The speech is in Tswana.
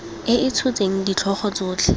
e e tshotseng ditlhogo tsotlhe